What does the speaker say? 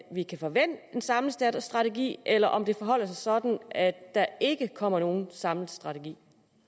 vi kan forvente en samlet strategi eller om det forholder sig sådan at der ikke kommer nogen samlet strategi